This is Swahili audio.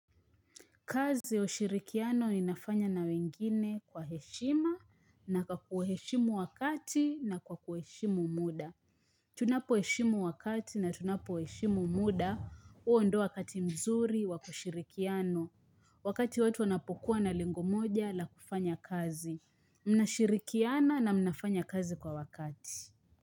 Kazi ya ushirikiano inafanywa na wengine kwa heshima na kwa kuheshimu wakati na kwa kuheshimu muda. Tunapo heshimu wakati na tunapo heshimu muda huo ndio wakati mzuri wakushirikiana. Wakati watu wanapokuwa na lengo moja la kufanya kazi. Mnashirikiana na mnafanya kazi kwa wakati.